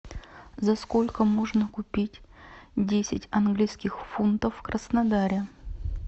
за сколько можно купить десять английских фунтов в краснодаре